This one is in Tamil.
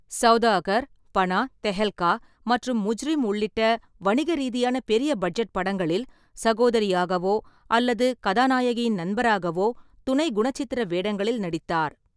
சௌதாகர், பனா, தெஹல்கா மற்றும் முஜ்ரிம் உள்ளிட்ட வணிக ரீதியான பெரிய பட்ஜெட் படங்களில் சகோதரியாகவோ அல்லது கதாநாயகியின் நண்பராகவோ துணை குணச்சித்திர வேடங்களில் நடித்தார்.